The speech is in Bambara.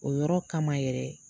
O yɔrɔ kama yɛrɛ